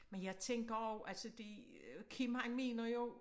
Men jeg tænker også altså det Kim han mener jo